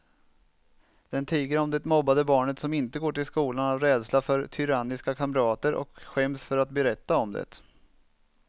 Den tiger om det mobbade barnet som inte går till skolan av rädsla för tyranniska kamrater och skäms för att berätta om det.